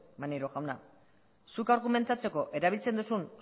maneiro jauna zuk argumentatzeko erabiltzen duzun